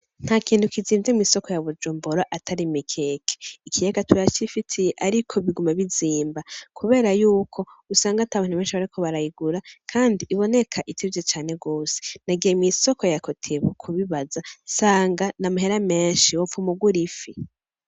Ntakintu kizimvye mw'isoko ya Bujumbura atari Imikeke. Ikiyaga turacifitiye ariko biguma bizimba kubera yuko usanga atabantu benshi bariko barayigura kandi iboneka izimvye cane gose. Nagiye mw'isoko ya kotebu kubibaza nsanga n'amahera menshi wopfuma ugura ifi.